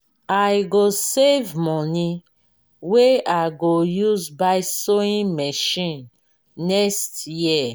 i go save moni wey i go use buy sewing machine next year.